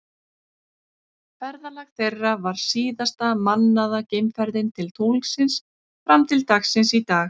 Ferðalag þeirra var síðasta mannaða geimferðin til tunglsins fram til dagsins í dag.